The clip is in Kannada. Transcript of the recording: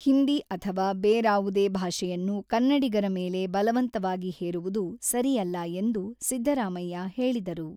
ಹಿಂದಿ ಅಥವಾ ಬೇರಾವುದೇ ಭಾಷೆಯನ್ನು ಕನ್ನಡಿಗರ ಮೇಲೆ ಬಲವಂತವಾಗಿ ಹೇರುವುದು ಸರಿಯಲ್ಲ ಎಂದು ಸಿದ್ದರಾಮಯ್ಯ ಹೇಳಿದರು.